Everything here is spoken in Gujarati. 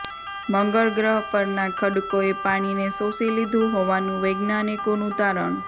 મંગળ ગ્રહ પરના ખડકોએ પાણીને શોષી લીધું હોવાનું વૈજ્ઞાનિકોનું તારણ